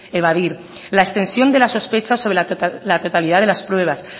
evadir la extensión de las sospechas sobre la totalidad de las pruebas